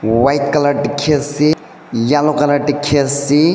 white colour dikhiase yellow colour dikhiase.